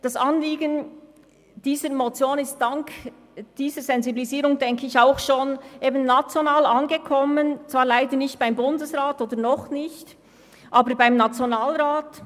Ich denke, das Anliegen der Motion ist dank dieser Sensibilisierung auch bereits auf nationaler Ebene angekommen, zwar leider nicht – oder noch nicht – beim Bundesrat, aber beim Nationalrat.